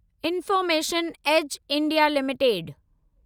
information age India limited